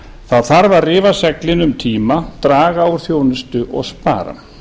það þarf að rifa seglin um tíma draga úr þjónustu og spara